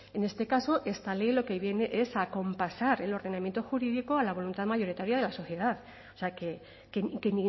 en este caso esta ley lo que viene es a acompasar el ordenamiento jurídico a la voluntad mayoritaria de la sociedad o sea que